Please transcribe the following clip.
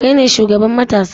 Kai ne shugaban matasa?